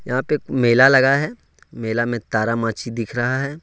यहां पे एक मेला लगा है मेला में तारा मछली दिख रहा है।